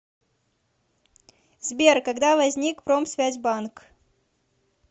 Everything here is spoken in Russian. сбер когда возник промсвязьбанк